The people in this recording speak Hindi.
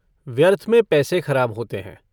व्यर्थ में पैसे खराब होते हैं।